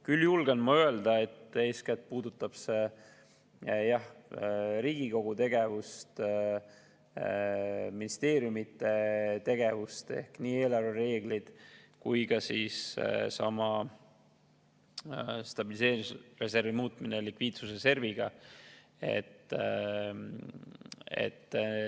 Küll julgen ma öelda, et eeskätt puudutab see Riigikogu tegevust ja ministeeriumide tegevust, ehk nii eelarvereeglid kui ka stabiliseerimisreservi muutmine likviidsusreserviga.